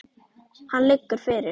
Hann liggur fyrir.